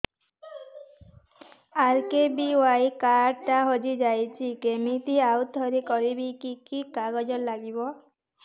RKBY card ଟା ହଜିଯାଇଛି କିମିତି ଆଉଥରେ କରିବି କି କି କାଗଜ ଲାଗିବ